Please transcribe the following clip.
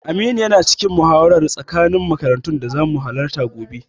Aminu yana cikin muhawarar tsakanin makarantun da zamu halatta gobe.